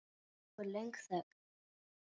Nú er löng þögn.